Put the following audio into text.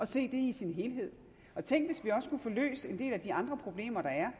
se det i sin helhed tænk hvis vi også kunne få løst en del af de andre problemer der er